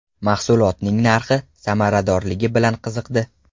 Mahsulotning narxi, samaradorligi bilan qiziqdi.